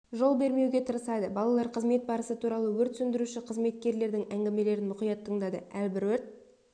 жол бермеуге тырысады балалар қызмет барысы туралы өрт сөндіруші қызметкерлердің әңгімелерін мұқият тыңдады әрбір өрт